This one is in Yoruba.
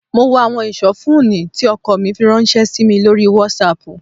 Mo wo àwọn ìsọfúnni tí ọkọ mi fi ránṣẹ́ sí mi lórí WhatsApp